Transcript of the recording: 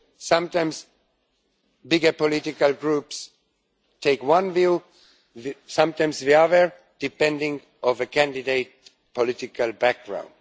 Sometimes bigger political groups take one deal, sometimes the other, depending on a candidate's political background.